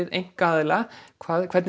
einkaaðila hvað